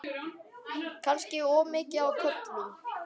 Kannski of mikið á köflum.